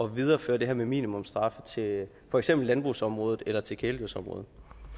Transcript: videreføre det her med minimumsstraffe til for eksempel landbrugsområdet eller til kæledyrsområdet